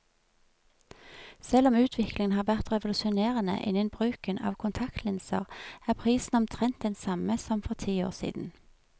Selv om utviklingen har vært revolusjonerende innen bruken av kontaktlinser, er prisen omtrent den samme som for ti år siden.